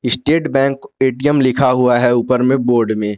State Bank ATM लिखा हुआ है ऊपर में बोर्ड में।